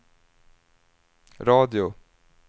radio